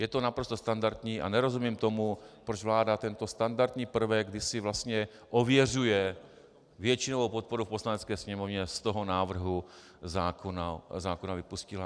Je to naprosto standardní a nerozumím tomu, proč vláda tento standardní prvek, kdy si vlastně ověřuje většinovou podporu v Poslanecké sněmovně, z toho návrhu zákona vypustila.